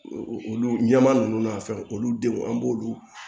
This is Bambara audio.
Olu ɲɛma nunnu n'a fɛnw olu denw an b'olu